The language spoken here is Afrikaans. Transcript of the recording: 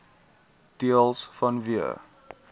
deels vanweë